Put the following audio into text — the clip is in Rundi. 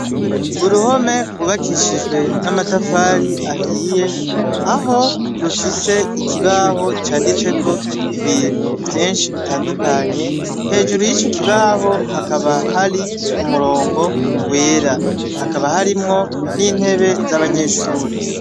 Uruhome rwubakishijwe n'amatafari ahiye, aho rufise ikibaho canditseko ibintu vyinshi bitandukanye hejuru y'ico kibaho hakaba hari umurongo wera, hakaba harimwo n'intebe z'abanyeshure.